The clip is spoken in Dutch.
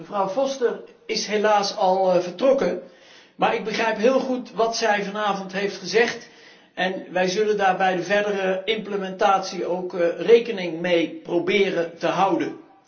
Mevrouw Foster is helaas al vertrokken, maar ik begrijp heel goed wat zij vanavond heeft gezegd en wij zullen daar bij de verdere implementatie ook rekening mee proberen te houden.